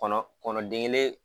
Kɔnɔ kɔnɔ den kelen.